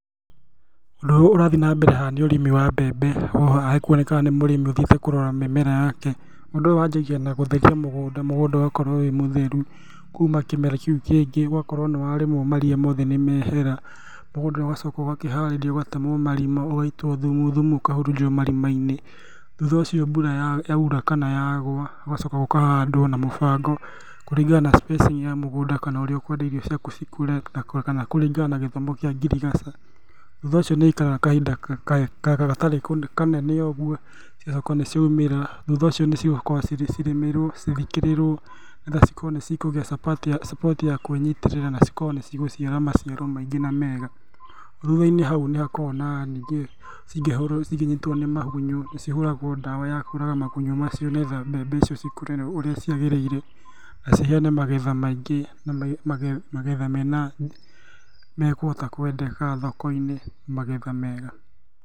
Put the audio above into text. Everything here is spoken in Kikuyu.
Ũndũ ũrĩa ũrathiĩ nambere haha nĩ ũrĩmi wa mbembe, haha hekuonekaga nĩ mũrĩmi ũthiĩte kũrora mĩmera yake. Ũndũ ũyũ wanjagia na gũtheria mũgũnda, mũgũnda ũgakorwo wĩ mũtheru kuma kĩmera kĩu kĩngĩ, ũgakorwo nĩwarĩmwo maria mothe nĩmehera, mũgũnda ũgacoka ũgakĩharĩrio ũgatemwo marima, ũgaitwo thumu, thumu ũkahurunjwo marima-inĩ, thutha ũcio mbura yaura kana yagwa, gũgacoka gũkahandwo na mũbango, kũringana na spacing ya mũgũnda kana ũrĩa ũkwenda irio ciaku cikũre kana kũringana na gĩthomo kĩa ngirigaca. Thutha ũcio nĩikaraga kahinda gatarĩ kanene ũguo cigacoka nĩciaumĩra, thutha ũcio nĩcigũkorwo cirĩmĩrwo, cithikiĩrĩrwo, nĩgetha cikorwo nĩcikũgĩa support ya kwĩnyitĩrĩra nacikorwo nĩcigũciara maciaro maingĩ na mega. Thutha-inĩ hau nĩhakoragwo na ningĩ cingĩhũrwo cingĩnyitwo nĩ magunyũ, nĩcihũragwo ndawa yakũraga magunyũ macio, nĩgetha mbembe icio cikũre ũrĩa ciagĩrĩire, na ciheane magetha maingĩ na magetha mekũhota kwendeka thoko-inĩ, magetha mega.